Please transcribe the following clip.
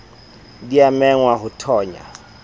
di a mengwa ho thonya